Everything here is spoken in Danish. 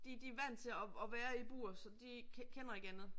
de de er vandt til at at være i bur så de kender ikke andet